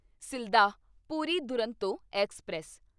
Sealdah Puri Duronto express